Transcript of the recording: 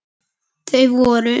Þau voru